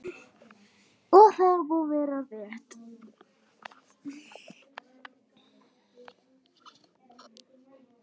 Og það má vera rétt.